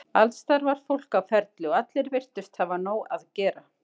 Alls staðar var fólk á ferli og allir virtust hafa nóg að gera.